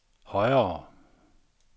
højere